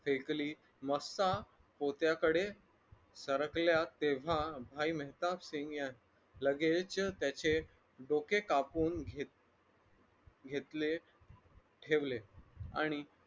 फेकली मस्था होत्याकडे सरकल्या तेव्हा भाई मेहताबसिंग यांनी लगेच त्याचे डोके कापून घेत घेतले ठेवले आणि